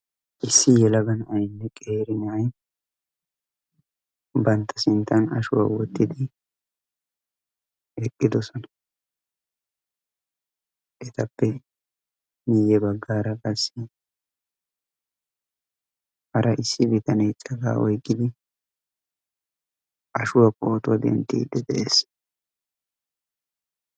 issi yelaga na7aynne qeeri na7ay bantta sinttan ashuwaa wottidi eqqidosona. etappe miyye baggaara qassi hara issi bitanee cagaa oyqqidi ashuwaa pootuwaa dinttiiddi de7ees.